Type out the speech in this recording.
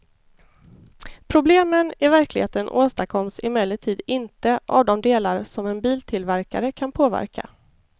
Problemen i verkligheten åstadkoms emellertid inte av de delar som en biltillverkare kan påverka.